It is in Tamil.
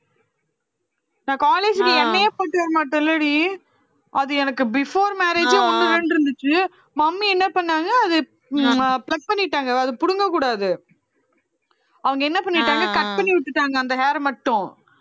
நான் college ல எண்ணெயே போட்டு வரமாட்டேன் இல்லடி அது எனக்கு before marriage ஒண்ணு ரெண்டு இருந்துச்சு mummy என்ன பண்ணாங்க அது அஹ் pluck பண்ணிட்டாங்க அதை புடுங்கக் கூடாது அவங்க என்ன பண்ணிட்டாங்க cut பண்ணி விட்டுட்டாங்க அந்த hair மட்டும்